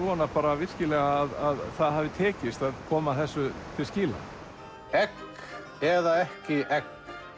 vona bara virkilega að það hafi tekist að koma þessu til skila egg eða ekki egg